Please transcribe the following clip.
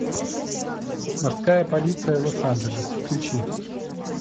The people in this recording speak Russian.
морская полиция лос анджелес включи